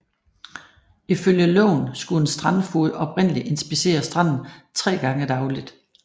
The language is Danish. Ifølge loven skulle en strandfoged oprindeligt inspicere stranden tre gange dagligt